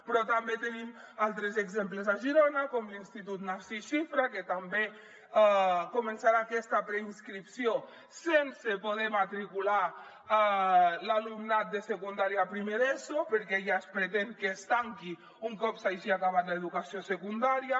però també en tenim altres exemples a girona com l’institut narcís xifra que també començarà aquesta preinscripció sense poder matricular l’alumnat de secundària a primer d’eso perquè ja es pretén que es tanqui un cop s’hagi acabat l’educació secundària